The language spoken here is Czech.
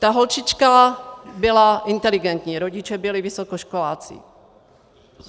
Ta holčička byla inteligentní, rodiče byli vysokoškoláci.